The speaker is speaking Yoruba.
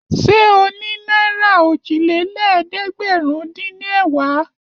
Ṣé o ní náírà òjìlélẹ́ẹ̀dẹ́gbẹ̀rúndínẹ̀wá?